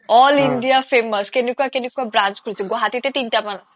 all india famous অ কেনেকুৱা কেনেকুৱা branch খুলিছে গুৱাহাটীতে তিনটা মান আছে